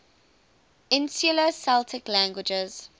insular celtic languages